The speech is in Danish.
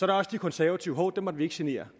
der også de konservative men hov dem må vi ikke genere